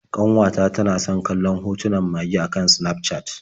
Ƙanwata tana san kallon hotunan mage a kan Sinafcat.